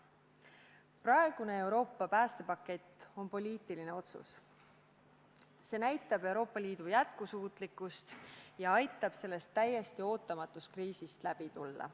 Praegune Euroopa päästepakett on poliitiline otsus, mis näitab Euroopa Liidu jätkusuutlikkust ja aitab sellest täiesti ootamatust kriisist läbi tulla.